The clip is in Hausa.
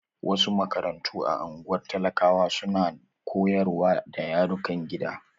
Wasu makarantu a ungwar talakawa su na koyarwa da yarukan gida.